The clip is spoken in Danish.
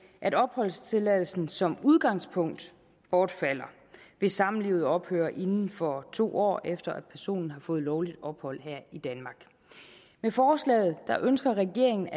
at opholdstilladelsen som udgangspunkt bortfalder hvis samlivet ophører inden for to år efter at personen har fået lovligt ophold her i danmark med forslaget ønsker regeringen